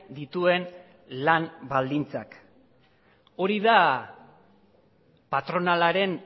dituen lan baldintzak hori da patronalaren